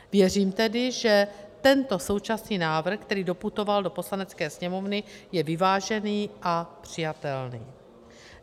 Věřím tedy, že tento současný návrh, který doputoval do Poslanecké sněmovny, je vyvážený a přijatelný.